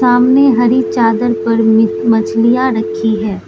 सामने हरी चादर पर मि मछलियां रखीं हैं।